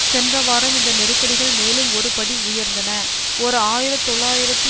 சென்ற வாரம் இந்த நெருக்கடிகள் மேலும் ஒரு படி உயர்ந்தன ஓர் ஆயிர தொள்ளாயிரத்தி